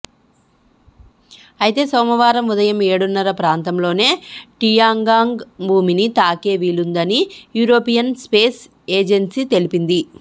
అయితే సోమవారం ఉదయం ఏడున్నర ప్రాంతంలోనే టియాంగ్గాంగ్ భూమిని తాకే వీలుందని యూరోపియన్ స్పేస్ ఎజెన్సీ తెలిపింది